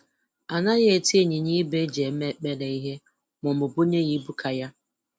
Anaghị eti ịnyanya ibu e ji eme ekpere ihe maọbụ bunye ya ibu ka ya